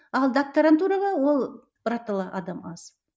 ал докторантураға ол біратала адам аз